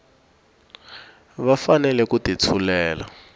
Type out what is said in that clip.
va fanele ku ti tshulela